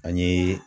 An ye